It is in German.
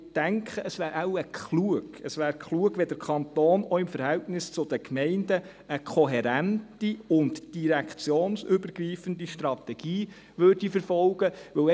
Ich denke, es wäre wohl klug, es wäre klug, wenn der Kanton auch im Verhältnis zu den Gemeinden eine kohärente und direktionsübergreifende Strategie verfolgen würde.